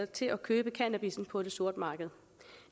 til at købe cannabissen på det sorte marked